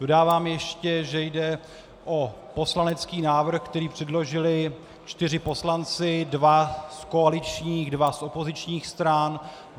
Dodávám ještě, že jde o poslanecký návrh, který předložili čtyři poslanci, dva z koaličních, dva z opozičních stran.